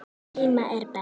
Heima er best.